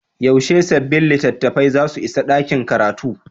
Yaushe sabbin littattafai za su isa ɗakin karatu?